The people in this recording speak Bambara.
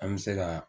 An bɛ se ka